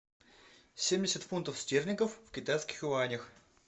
семьдесят фунтов стерлингов в китайских юанях